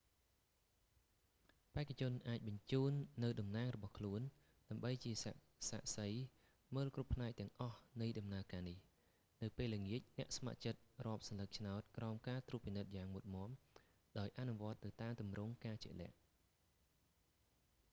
បេក្ខជនអាចបញ្ជូននូវតំណាងរបស់ខ្លួន ដើម្បីជាសាក្សីមើលគ្រប់ផ្នែកទាំងអស់នៃដំណើរការនេះ នៅពេលល្ងាច អ្នកស្ម័គ្រចិត្តរាប់សន្លឹកឆ្នោតក្រោមការត្រួតពិនិត្យយ៉ាងមុតមាំ ដោយអនុវត្តទៅតាមទម្រង់ការជាក់លាក់